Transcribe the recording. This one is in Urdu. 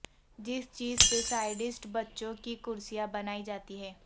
جس چیز سے سایڈست بچوں کی کرسیاں بنائی جاتی ہیں